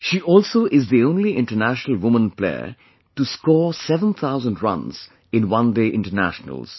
She also is the only international woman player to score seven thousand runs in one day internationals